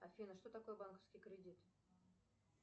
афина что такое банковский кредит